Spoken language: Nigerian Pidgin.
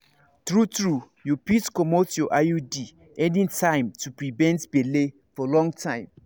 true-true you fit comot your iud anytime to prevent belle for long time.